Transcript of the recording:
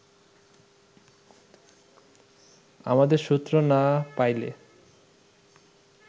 আমোদের সূত্র না পাইলে